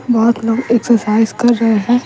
बहुत लोग एक्सरसाइज कर रहे हैं।